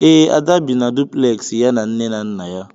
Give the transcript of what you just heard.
Ee, Ada bi na duplexi ya na nne na nna ya.